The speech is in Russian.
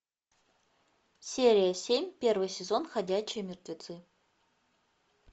серия семь первый сезон ходячие мертвецы